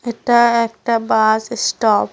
এটা একটা bus stop.